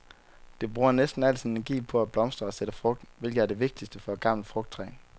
Det bruger næsten al sin energi på at blomstre og sætte frugt, hvilket er det vigtigste for et gammelt frugttræ.